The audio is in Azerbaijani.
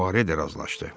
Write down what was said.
Puare də razılaşdı.